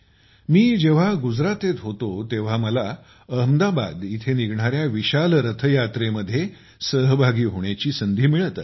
मी जेव्हा गुजरातेत होतो तेव्हा मला अहमदाबाद येथे निघणाऱ्या विशाल रथयात्रेमध्ये सहभागी होण्याची संधी मिळत असे